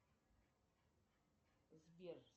сбер